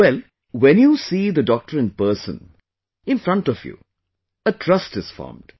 Well, when you see the doctor in person, in front of you, a trust is formed